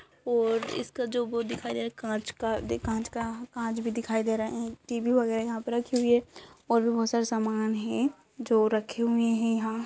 और इसका जो वो है दिखाई दे रहा है कांच का दे कांच का कांच भी दिखाई दे रहा है। टीवी वगैरह भी यहाँ पे रखी हुई है और भी बहोत सारे सामान हैं जो रखे हुए हैं यहाँ --